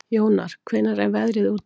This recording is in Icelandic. Jónar, hvernig er veðrið úti?